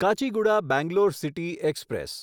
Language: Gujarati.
Kacheguda Bangalore city express